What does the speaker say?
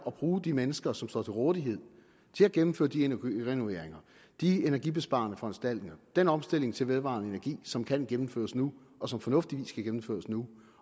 at bruge de mennesker som står til rådighed til at gennemføre de energirenoveringer de energibesparende foranstaltninger den omstilling til vedvarende energi som kan gennemføres nu og som fornuftigvis kan gennemføres nu